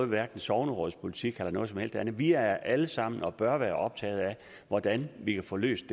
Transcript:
med sognerådspolitik eller noget som helst andet vi er alle sammen og bør være optaget af hvordan vi kan få det løst